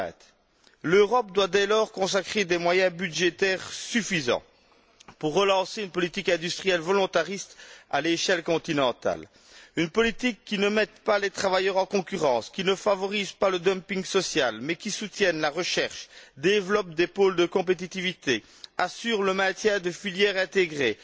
2020. L'Europe doit dès lors consacrer des moyens budgétaires suffisants pour relancer une politique industrielle volontariste à l'échelle continentale, une politique qui ne mette pas les travailleurs en concurrence, qui ne favorise pas le dumping social, mais qui soutienne la recherche, développe des pôles de compétitivité, assure le maintien de filières intégrées,